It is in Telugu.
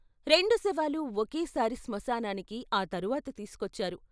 రెండు శవాలు ఒకేసారి స్మశానానికి ఆ తర్వాత తీసుకొచ్చారు.